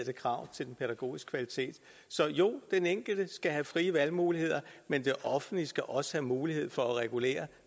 krav til den pædagogiske kvalitet så jo den enkelte skal have frie valgmuligheder men det offentlige skal også have mulighed for at regulere